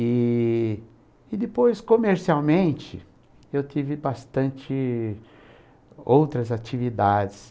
E e depois, comercialmente, eu tive bastante outras atividades.